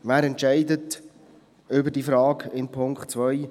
Wer entscheidet über die Frage in Punkt 2: